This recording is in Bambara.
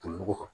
O kan